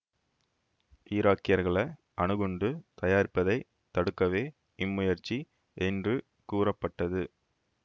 ஈராக்கியர்கள அணுகுண்டு தயாரிப்பதைத் தடுக்கவே இம்முயற்சி என்று கூறப்பட்டது